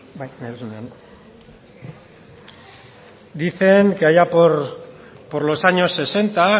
dicen que allá por los años sesenta